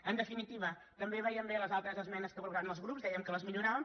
en definitiva també veiem bé les altres esmenes que proposaven els grups dèiem que la milloraven